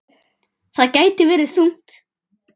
Það gæti vegið þungt.